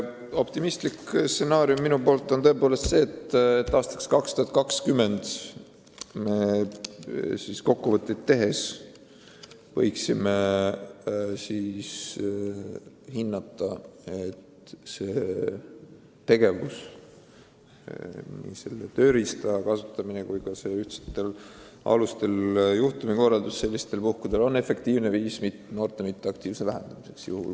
Optimistlik stsenaarium on tõepoolest selline, et aastal 2020 me saame teha kokkuvõtteid ja hinnata, kas selle tööriista kasutamine ning ühtsetel alustel juhtumilahendus on efektiivne viis noorte passiivsuse vähendamiseks.